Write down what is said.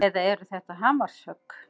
Eða eru þetta hamarshögg?